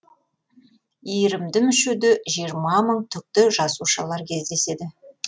иірімді мүшеде жиырма мың түкті жасушалар кездеседі